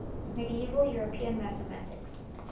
medieval european mathematics